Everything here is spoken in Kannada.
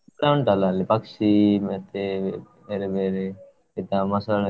ಉಂಟಲ್ಲ ಅಲ್ಲಿ ಪಕ್ಷಿ ಮತ್ತೆ ಬೇರೆ ಬೇರೆ, ಎಂತಾ ಮೊಸಳೆ.